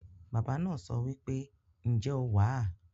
Baba naa sowipe, "Nje o wa?"